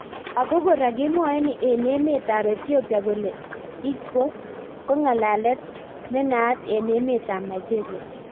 Ako kora kemwae eng emet ab Ethiopia kole Igbo:ko ng'alalet nenaat eng emet ab Nigeria